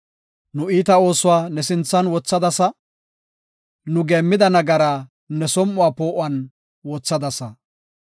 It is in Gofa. Nu iita oosuwa ne sinthan wothadasa; nu geemmida nagaraa ne som7uwa poo7uwan wothadasa.